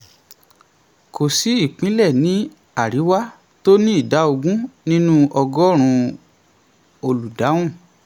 kò sí ìpínlẹ̀ ní àríwá tó ní ìdá ogún nínú ọgọ́rùn-ún olùdáhùn.